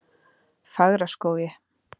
Fagraskógi